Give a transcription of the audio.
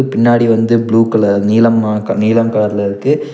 பின்னாடி வந்து blue colour நீலமா க நீலம் கலர்ல இருக்கு.